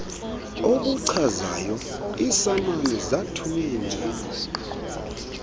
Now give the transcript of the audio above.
obuchazayo iisamani zathuny